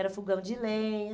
Era fogão de lenha.